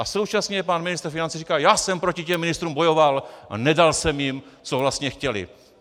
A současně pan ministr financí říká: já jsem proti těm ministrům bojoval a nedal jsem jim, co vlastně chtěli.